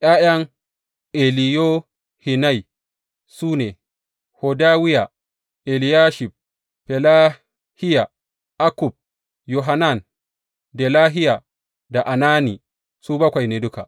’Ya’yan Eliyohenai su ne, Hodawiya, Eliyashib, Felahiya, Akkub, Yohanan, Delahiya da Anani, su bakwai ne duka.